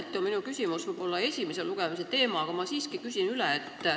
Mõneti on minu küsimus võib-olla esimese lugemise teema, aga ma siiski küsin üle.